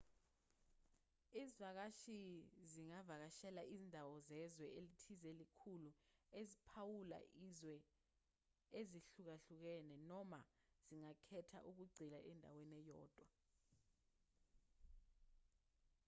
izivakashi zingavakashela izindawo zezwe elithize ezinkulu eziphawula izwe ezihlukahlukene noma zingakhetha ukugxila endaweni eyodwa